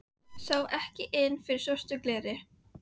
Sá ekki inn fyrir svört glerin.